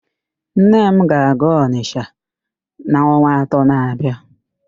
Nne m ga-aga Ọnịsha n'ọnwa atọ na-abịa